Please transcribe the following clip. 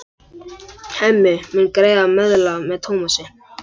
Hemmi mun greiða meðlag með Tómasi.